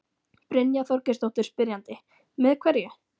Brynja Þorgeirsdóttir, spyrjandi: Með hverju?